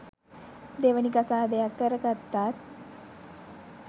දෙවනි කසාදයක් කරගත්තත්